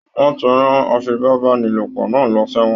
Wọn tí rán afipabanilopo náà lọ ṣ'ewọn